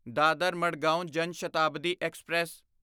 Dadar Madgaon Jan Shatabdi express